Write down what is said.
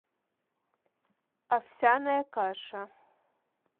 овсяная каша